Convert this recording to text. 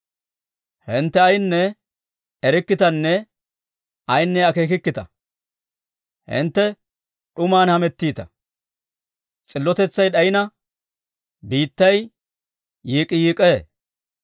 «Hintte ayinne erikkitanne ayinne akeekikkita; hintte d'uman hamettiita. S'illotetsay d'ayina, biittay yiik'k'iyiik'k'ee.